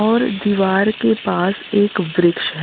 और दीवार के पास एक वृक्ष है।